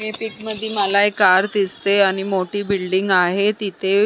ह्या पीक मधी मला एक कार दिसते आणि मोठी बिल्डिंग आहे तिथे.